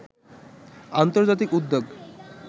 আন্তর্জাতিক উদ্যোগ